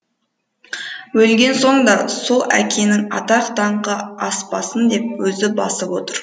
өлген соң да сол әкенің атақ даңқы аспасын деп өзі басып отыр